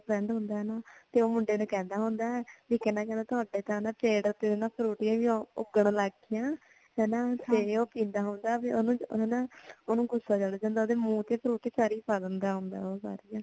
ਹੋਰ friend ਹੁੰਦਾ ਆ ਨਾ ਤੇ ਉਹ ਮੁੰਡੇ ਨੂੰ ਕਹਿੰਦਾ ਹੁੰਦਾ ਆ ਵੀ ਤੁਹਾਡੇ ਤਾਂ ਨਾ ਪੇੜ ਤੇ ਵੀ ਫਰੂਟੀਆਂ ਉੱਗਣ ਲੱਗ ਗਈਆਂ ਹਨਾਂ ਤੇ ਉਹ ਕਹਿੰਦਾ ਹੁੰਦਾ ਉਹਨੂੰ ਨਾ ਉਹਨੂੰ ਗ਼ੁੱਸਾ ਚੜ ਜਾਂਦਾ ਉਹਦੇ ਮੂੰਹ ਤੇ ਫਰੂਟੀ ਪਾ ਦਿੰਦਾ ਹੋਂਦਾ ਉਹ